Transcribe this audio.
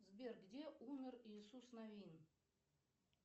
сбер где умер иисус новин